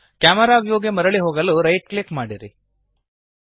camera ವ್ಯೂಗೆ ಮರಳಿ ಹೋಗಲು ರೈಟ್ ಕ್ಲಿಕ್ ಮಾಡಿರಿ